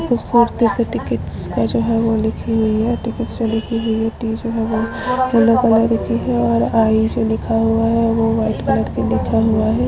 खूबसूरती से टिकिटस का जो है वो लिखी हुई है टिकिट जो लिखी हुई है टी जो है वो येलो कलर की है और आई जो लिखा हुआ है वो व्हाइट कलर का लिखा हुआ है।